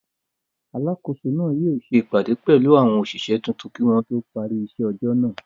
Alákòóso náà yóò ṣe ìpàdé pẹ̀lú àwọn òṣìṣẹ́ tuntun kí wọn tó parí iṣẹ́ ọjọ́ náà.